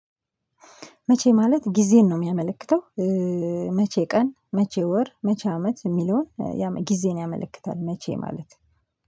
መቼ ማለት ጊዜን ነው የሚያመለክተው? መቼ ቀን መቼ ወር መቼ አመት የሚለውን ጊዜን ያመለክታል። መቼ ማለት ነው